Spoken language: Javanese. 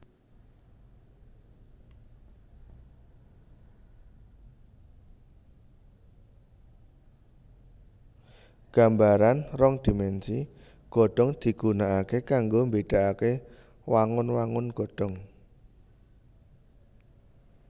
Gambaran rong dhimènsi godhong digunaaké kanggo mbédaaké wangun wangun godhong